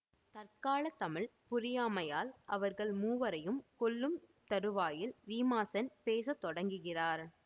தற்கால தமிழ் புரியாமையால் அவர்கள் மூவரையும் கொல்லும் தறுவாயில் ரீமாசென் பேச தொடங்குகிறார்